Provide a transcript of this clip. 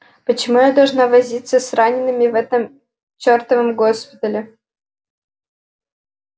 почему я должна возиться с ранеными в этом чёртовом госпитале